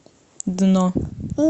дно